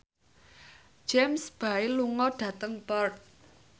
James Bay lunga dhateng Perth